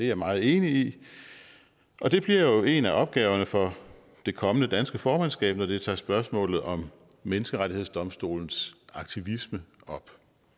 jeg meget enig i og det bliver jo en af opgaverne for det kommende danske formandskab når det tager spørgsmålet om menneskerettighedsdomstolens aktivisme op